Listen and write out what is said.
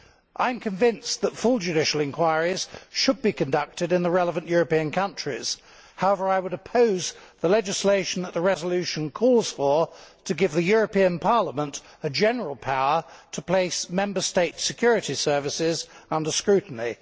I am convinced that full judicial inquiries should be conducted in the relevant European countries. However, I would oppose the legislation that the resolution calls for to give the European Parliament a general power to place Member States' security services under scrutiny.